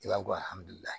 I b'a dɔn